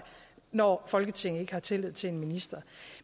når folketinget ikke har tillid til en minister